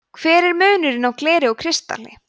hver er munurinn á gleri og kristalli